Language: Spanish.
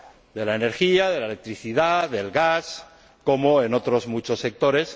de la energía, de la electricidad, del gas, o en otros muchos sectores.